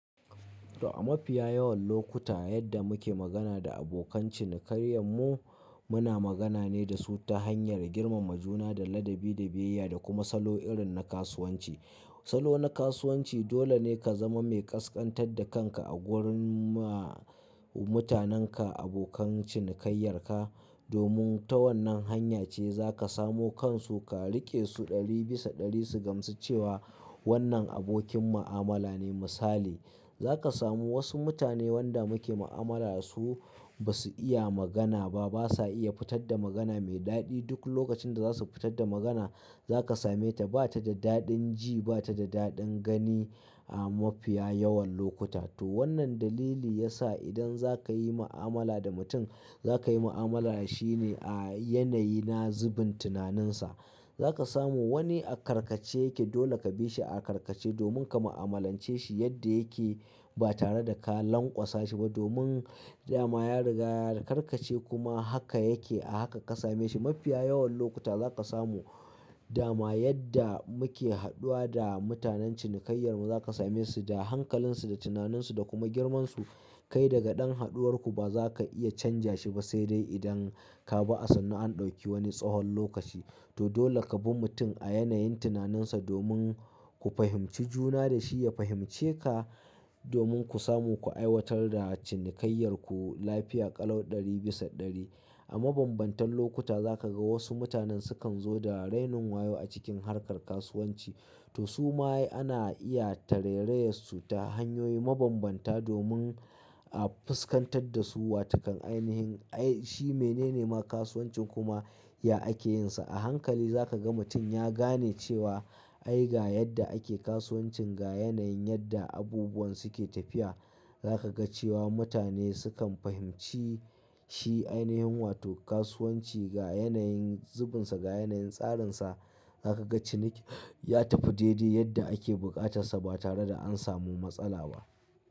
To a mafiya yawan lokuta yadda muke magana da abokan cinikayyanmu, muna magana ne da su ta hanyar girmama juna da ladabi da biyayya da kuma salo irin na kasuwanci. Salo na kasuwanci dole ne ka zama mai ƙasƙantar da kanka a gurin ma mutanenka, abokan cinikayyar ka, domin ta wannan hanya ce za ka samo kansu ka riƙe su ɗari bisa ɗari su gamsu cewa wannan abokin mu'amala ne misali. Za ka samu wasu mutane wanda muke mu'amala da su ba su iya magana ba, ba sa iya fitar da magana mai daɗi. Duk lokacin da za su fitar da magana za ka same ta ba ta da daɗin ji, ba ta da daɗin gani a mafiya yawan lokuta. To wannan dalili ya sa idan za ka yi mu'amala da mutum, za ka yi mu'amala da shi ne a yanayi na zubin tunaninsa. Za ka samu wani a karkace yake dole ka bi shi a karkace domin ka mu'amalance shi yadda yake ba tare da ka lanƙwasa shi ba domin dama ya riga ya karkace kuma haka yake a haka ka same shi. Mafiya yawan lokuta za ka samu dama yadda muke haɗuwa da mutanen cinikayyar mu za ka same su da hankalinsu, da tunaninsu da kuma girmansu. Kai daga ɗan haɗuwar ku ba za ka iya canja shi ba, sai dai idan ka bi a sannu an ɗauki wani tsawon lokaci. To dole ka bi mutum a yanayin tunaninsa domin ku fahimci juna da shi ya fahimce ka domin ku samu ku aiwatar da cinikayyar ku lafiya ƙalau ɗari bisa ɗari. A mabambantan lokuta za ka ga wasu mutanen su kan zo da rainin wayo a cikin harkar kasuwanci. To su ma ana iya tarairayar su ta hanyoyi mabambanta domin a fuskantar da su wa ta kan ainihin ai shi menene ma kasuwancin kuma ya ake yin sa. A hankali za ka ga mutum ya gane cewa ai ga yadda ake kasuwancin, ga yanayin yadda abubuwan su ke tafiya. Za ka ga cewa mutane su kan fahimci shi ainihin wato kasuwanci ga yanayin zubinsa, ga yanayin tsarinsa. Za ka ga ciniki ya tafi daidai yadda ake buƙatarsa ba tare da an samu matsala ba.